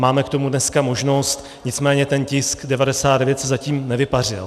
Máme k tomu dnes možnost, nicméně ten tisk 99 se zatím nevypařil.